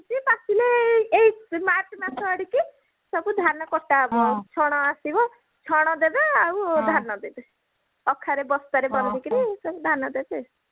ପାଚିଲେ ଏଇ march ମାସ ଆଡିକି ସବୁ ଧାନ କଟା ହବ ଛଣ ଆସିବ ଛଣ ଦେବେ ଆଉ ଧାନ ଦେବେ ଅଖାରେ ବସ୍ତାରେ ବାନ୍ଧିକରି ସବୁ ଧାନ ଦେବେ